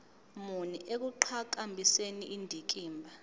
muni ekuqhakambiseni indikimba